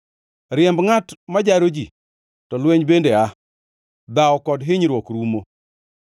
Riemb ngʼat ma jaro ji, to lweny bende aa, dhawo kod kinyruok rumo.